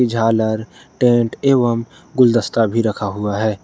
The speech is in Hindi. झालर टेंट एवं गुलदस्ता भी रखा हुआ है।